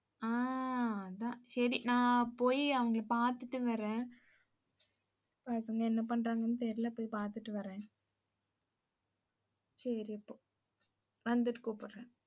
ஆஹ் அதான். சரி, நான் போயி அவங்களை பாத்துட்டு வர்றேன். பசங்க என்ன பண்றாங்கன்னு தெரியல. போய் பாத்துட்டு வர்றேன். சரி இப்போ வந்துட்டு கூப்பிடுறேன்